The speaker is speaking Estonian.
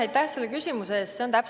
Aitäh selle küsimuse eest!